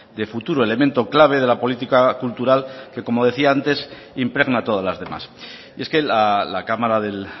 de futuro elemento clave de la política cultural que como decía antes impregna todas las demás y es que la cámara del